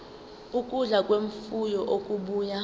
ukudla kwemfuyo okubuya